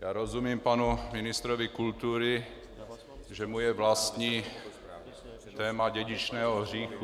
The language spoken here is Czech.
Já rozumím panu ministrovi kultury, že mu je vlastní téma dědičného hříchu.